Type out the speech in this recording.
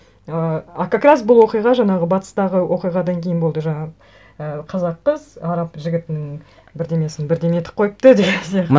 ыыы а как раз бұл оқиға жаңағы батыстағы оқиғадан кейін болды жаңағы і қазақ қыз араб жігітінің бірдеңесін бірдеңе етіп қойыпты деген